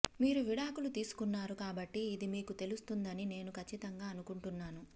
మీరు విడాకులు తీసుకున్నారు కాబట్టి ఇది మీకు తెలుస్తుందని నేను ఖచ్చితంగా అనుకుంటున్నాను